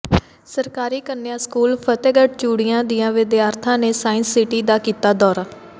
ਸਰਕਾਰੀ ਕੰਨਿਆ ਸਕੂਲ ਫਤਹਿਗੜ੍ਹ ਚੂੜੀਆਂ ਦੀਆਂ ਵਿਦਿਆਰਥਣਾਂ ਨੇ ਸਾਇੰਸ ਸਿਟੀ ਦਾ ਕੀਤਾ ਦੌਰਾ